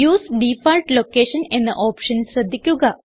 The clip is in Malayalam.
യുഎസ്ഇ ഡിഫോൾട്ട് ലൊക്കേഷൻ എന്ന ഓപ്ഷൻ ശ്രദ്ധിക്കുക